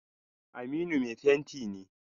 Aminu mai fenti ne.